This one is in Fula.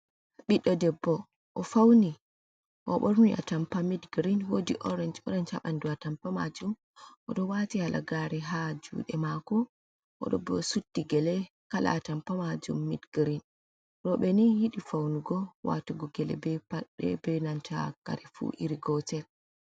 Ɓiɗɗo debbo o fauni, oɓorni otampa mid girin, woodi orenj orenj haɓandu atampa majuum oɗo wati halagare ha juuɗe mako, o suddi gele kala atampa majuum mid girin, rewɓe ni yiɗi faunugo watugo gele, be paɗe, be nanta kare fuu iri gotel.